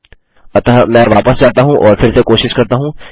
अतः मैं वापस जाता हूँ और फिर से कोशिश करता हूँ